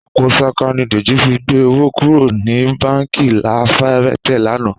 Àpò ṣaka ni Dèjì fi gbé owó kúrò ní báǹkì La Fayette lánàá